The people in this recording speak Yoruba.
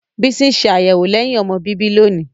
Bisi n ṣe ayẹwo lẹhin-ọmọ bibi loni.